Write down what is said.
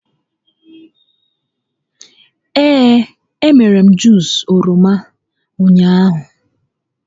Ee, e mere m Juus oroma ahụ ụnyaahụ